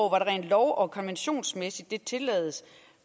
rent lov og konventionsmæssigt tillades